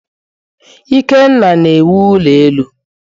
Ikenna na-awụ ulo elu.